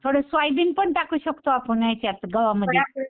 थोडं सोयाबीन पण टाकू शकतो आपण याच्यात गव्हामध्ये.